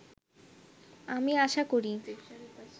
আমি আশা করি